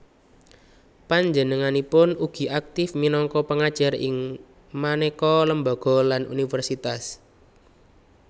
Panjenenganipun ugi aktif minangka pengajar ing maneka lembaga lan universitas